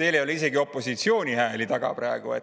teil ei ole ju isegi opositsiooni hääli praegu.